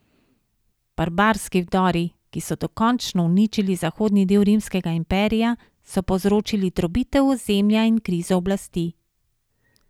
Barbarski vdori, ki so dokončno uničili zahodni del rimskega imperija, so povzročili drobitev ozemlja in krizo oblasti.